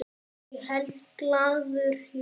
Ég held glaður jól.